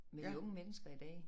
Med de unge mennesker i dag